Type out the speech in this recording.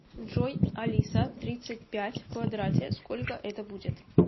джой алиса тридцать пять в квадрате сколько это будет